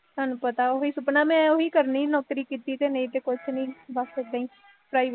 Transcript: ਤੁਹਾਨੂੰ ਪਤਾ ਉਹੀ ਸੁਪਨਾ ਮੈਂ ਉਹੀ ਕਰਨੀ ਨੌਕਰੀ ਕੀਤੀ ਤੇ ਨਹੀਂ ਤੇ ਕੁ੍ੱਛ ਨਹੀਂ ਬੱਸ ਉਦਾਂ ਹੀ ਪ੍ਰਾਈਵੇਟ